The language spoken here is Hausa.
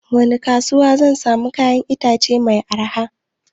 Wani kasuwa zan samu kayan itace mai arha?